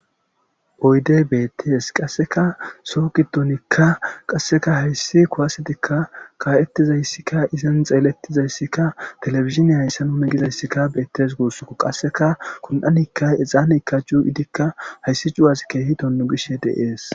Oyde beettees qasseka soo gidonikka qasseka hayssi kowasetikka kaa7ettizayssikka izen xeelettizayssikka telefiziniya hayssa nune gizayssikka beettes guossoko qasseka kun7anikka exaanekka cuu7idikka hayssi cuwazkehi tonnu gishe deees.